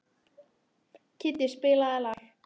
Kiddi, spilaðu lag.